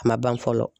A ma ban fɔlɔ